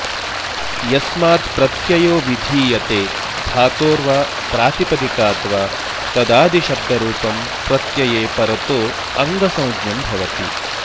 यस्मात् प्रत्ययो विधीयते धातोर् वा प्रातिपदिकाद् वा तदादि शब्दरूपं प्रत्यये परतो ऽङ्गसंज्ञं भवति